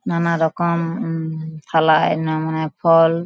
নানা রকম উম থালায় নামানো ফল।